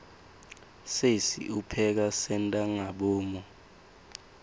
sesi upheka sentangabomu